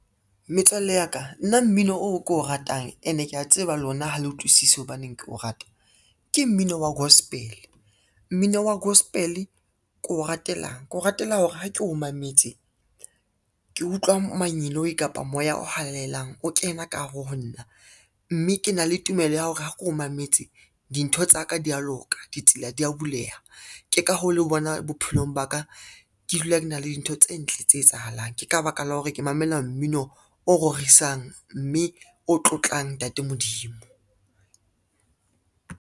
Metswalle ya ka nna mmino o ko o ratang ene kea tseba lona ha le utlwisisi hobaneng keo rata, ke mmino wa gospel. Mmino wa gospel ke o ratelang, ke o ratela hore ha ke o mametse ke utlwa manyeloi kapa moya o halalelang o kena ka hare ho nna, mme ke na le tumelo ya hore ha keo mametse dintho tsa ka di a loka, ditsela dia buleha, ke ka hoo le bonang bophelong ba ka ke dula ke na le dintho tse ntle tse etsahalang, ke ka baka la hore ke mamela mmino o rorisang mme o tlotlang Ntate Modimo.